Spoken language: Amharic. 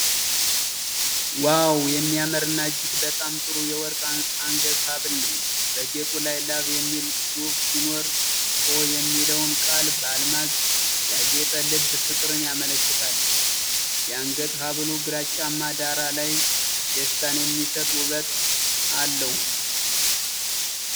ዋው! የሚያምርና እጅግ በጣም ጥሩ የወርቅ የአንገት ሐብል ነው። በጌጡ ላይ "Love" የሚል ጽሑፍ ሲኖር፣ "o" የሚለውን ቃል በአልማዝ ያጌጠ ልብ ፍቅርን ያመለክታል። የአንገት ሐብሉ ግራጫማ ዳራ ላይ ደስታን የሚሰጥ ውበት አለው።